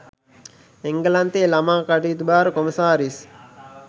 එංගලන්තයේ ළමා කටයුතු භාර කොමසාරිස්